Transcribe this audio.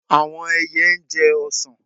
Àwọn ẹyẹ jẹ ọsàn.